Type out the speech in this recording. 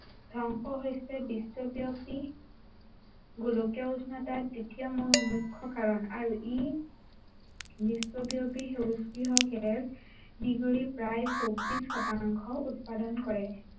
ধ্বংস হৈছে বিশ্বব্য়াপী গোলকীয় উষ্ণতাৰ তৃতীয় মু~মুখ্য় কাৰণ। আৰু ই, বিশ্বব্য়াপী গেছ মিহলি প্ৰায় চল্লিশ শতাংশ উৎপাদন কৰে।